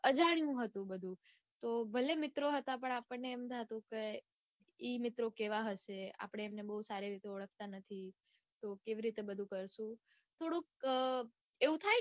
અજાણ્યું હતું બધું. તો ભલે મિત્રો હતા પણ આપણને એમ થાતું કે ઈ મિત્રો કેવા હશે આપડે એમને બઉ સારી રીતે ઓળખતા નથી. તો બધું કરશુ? થોડુંક એવું થાયને.